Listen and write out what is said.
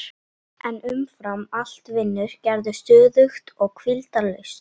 En umfram allt vinnur Gerður stöðugt og hvíldarlaust.